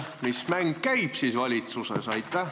Mis mäng siis valitsuses käib?